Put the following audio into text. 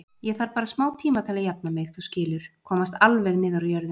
Ég þarf bara smátíma til að jafna mig, þú skilur, komast alveg niður á jörðina.